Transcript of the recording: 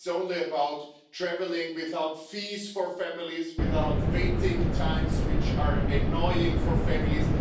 It is only about travelling without fees for families, without waiting times, which are annoying for families.